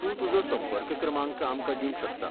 तूं तुजो संपर्क क्रमांक आमकां दिवंक शकता.